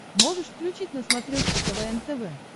можешь включить на смотрешке квн тв